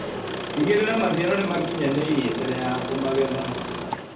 Tigĩrĩra maciaro nĩmakinyanĩirie mbere ya kũmagetha.